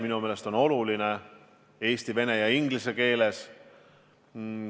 Minu meelest on oluline anda infot eesti, vene ja inglise keeles.